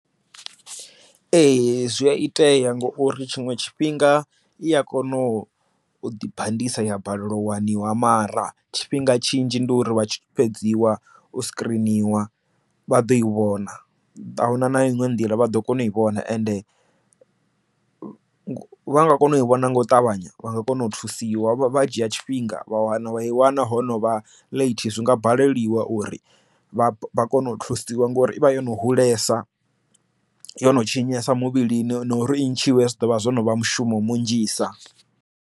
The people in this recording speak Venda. Ee zwi a itea ngauri tshiṅwe tshifhinga i a kona u ḓi bandisa ya balelwa wani wa mara tshifhinga tshinzhi ndi uri vha tshi fhedziwa u screeniwa vha ḓo i vhona a huna na iṅwe nḓila vha ḓo kona u i vhona ende vha nga kona u i vhona nga u ṱavhanya vha nga kona u thusiwa vha dzhia tshifhinga vha wana vha i wana ho no vha late zwi nga baleliwa uri vha kone u thusiwa ngori ivha yo no hulesa yo no tshinyesa muvhilini na uri i ntshiwe zwi ḓovha zwo no vha mushumo vhunzhisa.